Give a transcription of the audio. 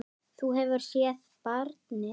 Þú hefur séð barnið?